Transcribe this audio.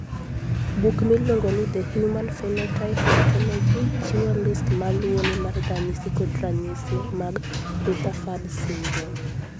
Buk miluongo ni The Human Phenotype Ontology chiwo list ma luwoni mar ranyisi kod ranyisi mag Rutherfurd syndrome.